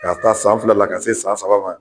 K'a ta san fila la ka se san saba ma.